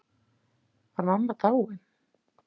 Var mamma dáin?